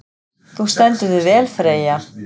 Þú stendur þig vel, Freyja!